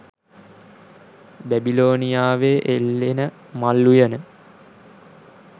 බැබිලෝනියාවේ එල්ලෙන මල් උයන